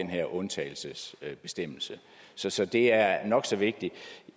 her undtagelsesbestemmelse så så det er nok så vigtigt